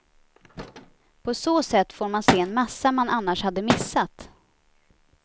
På så sätt får man se en massa man annars hade missat.